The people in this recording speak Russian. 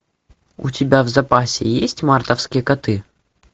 у тебя в запасе есть мартовские коты